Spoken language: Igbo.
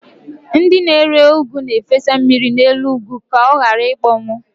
Ndị na-ere ụgụ na-efesa mmiri n'elu ụgụ ka ọ ghara ịkpọnwụ.